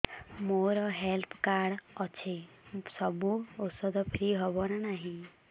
ମୋର health card ଅଛି ସବୁ ଔଷଧ ଫ୍ରି ହବ ନା ନାହିଁ